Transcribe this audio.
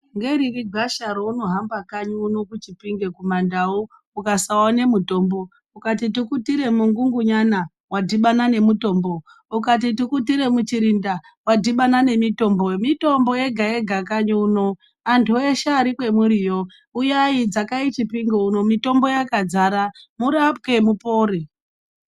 Ngeriri gwasha raunohamba kanyi uno kuchipinge kumandau ukasaone mutombo. Ukati tukutire mungungunyana vadhibana nemutombo. Ukati tukutire muchirinda vadhibana nemitombo. Mitombo yega-yega kanyi uno antu eshe ari kwemuriyo uyai dzakai chipinge uno mitombo yakadzara murapwe mupore.